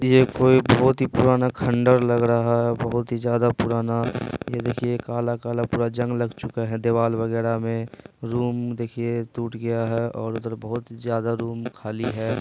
ये कोई बहुत ही पुराना खंडहर लग रहा है बहुत ही ज्यादा पुराना ये देखिये काला-काला पूरा जंग लग चूका है दिवाल वगैरा में रूम देखिये टूट गया है और उधर बहुत ज्यादा ही रूम खाली है।